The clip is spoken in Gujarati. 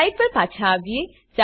સ્લાઈડ પર પાછા આવીએ